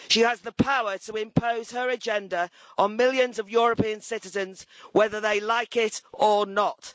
She has the power to impose her agenda on millions of European citizens, whether they like it or not.